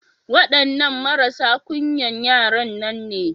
Waɗannan marasa ƙunyan yaran nan ne.